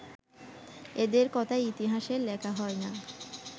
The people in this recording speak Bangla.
এঁদের কথা ইতিহাসে লেখা হয় না